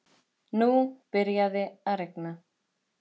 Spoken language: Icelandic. Nú byrjaði að rigna.